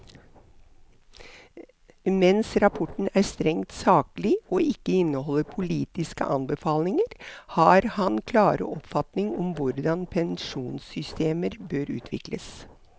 Mens rapporten er strengt saklig og ikke inneholder politiske anbefalinger, har han klare oppfatninger om hvordan pensjonssystemer bør utvikles.